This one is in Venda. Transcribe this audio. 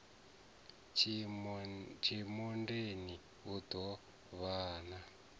tshimondeni u ḓo vhan a